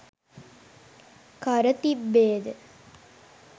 කර තිබේද?